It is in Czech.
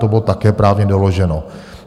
To bylo také právně doloženo.